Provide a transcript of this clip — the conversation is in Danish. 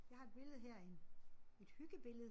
Jeg har et billede her af en et hyggebillede